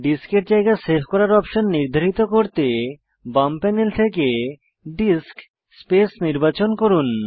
ডিস্কের জায়গা সেভ করার অপশন নির্ধারিত করতে বাম প্যানেল থেকে ডিস্ক স্পেস নির্বাচন করুন